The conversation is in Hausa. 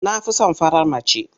Na fi son farar mace.